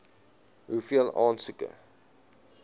hoeveel aansoeke